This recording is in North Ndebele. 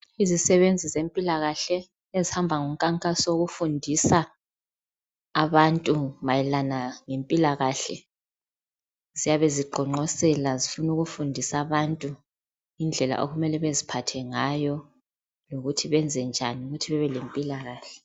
Izisebenzi zempilakahle ezihamba ngonkankaso wokufundisa abantu mayelana ngempilakahle ziyabe ziqonqosela zifuna ukufundisa abantu indlela okumele beziphathe ngayo lokuthi benzenjani ukuthi babe lempilakahle